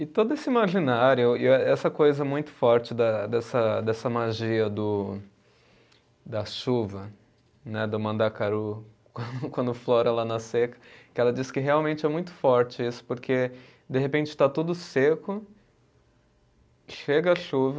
E todo esse imaginário, e eh essa coisa muito forte da dessa dessa magia do, da chuva né, do Mandacaru quando, quando flora lá na seca, que ela diz que realmente é muito forte isso, porque de repente está tudo seco, chega a chuva,